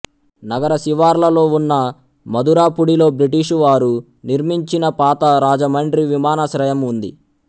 నగర శివార్లలో ఉన్న మధురపూడిలో బ్రిటీష్ వారు నిర్మించిన పాత రాజమండ్రి విమానాశ్రయము ఉంది